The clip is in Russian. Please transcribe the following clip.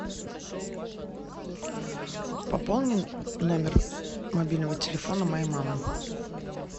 пополни номер мобильного телефона моей мамы